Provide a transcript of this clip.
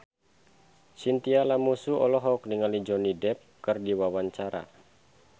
Chintya Lamusu olohok ningali Johnny Depp keur diwawancara